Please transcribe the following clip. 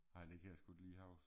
Nej det kan jeg sgu ikke lige huske